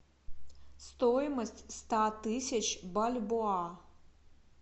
стоимость ста тысяч бальбоа